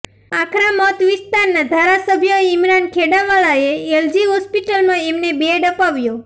આખરા મત વિસ્તારના ધારાસભ્ય ઇમરાન ખેડાવાલાએ એલજી હોસ્પિટલમાં અમને બેડ અપાવ્યો